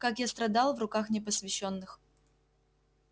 как я страдал в руках непосвящённых